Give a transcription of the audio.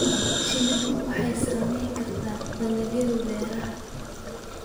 Shinnidu waxay saamayn kartaa dalagyada beeraha.